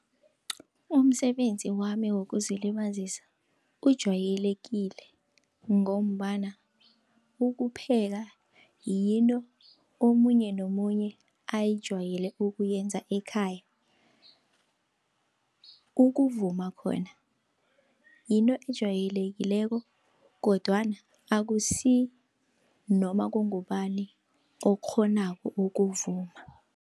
Umsebenzi wami wokuzilibazisa ujayelekile, ngombana ukupheka yinto omunye nomunye ayijayele ukuyenza ekhaya. Ukuvuma khona yinto ejayelekileko kodwana akusi noma kungubani okukghonako ukuvuma.